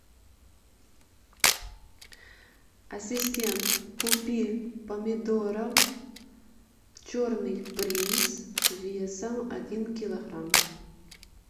ассистент купи помидоров черный принц весом один килограмм